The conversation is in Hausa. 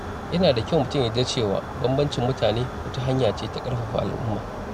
Yana da kyau mutum ya yarda da cewa bambancin mutane wata hanya ce ta ƙarfafa al’umma.